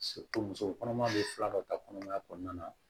muso kɔnɔma bɛ fila dɔ ta kɔnɔmaya kɔnɔna na